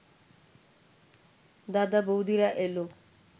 দাদা-বৌদিরা এলো